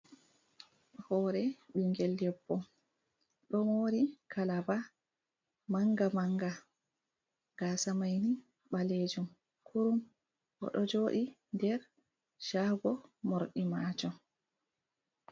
Hoore ɓingel debbo. Ɗo moori kalaba manga-manga, gaasa mai ni balejum kurum. Oɗo jooɗi nder shago morɗi maajum.